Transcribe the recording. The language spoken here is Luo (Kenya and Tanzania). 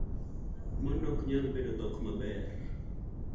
Mano ok nyal bedo dhok maber.